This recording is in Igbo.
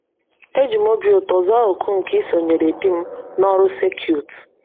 Eji m obi ụtọ zaa òkù nke isonyere di m n’ọrụ circuit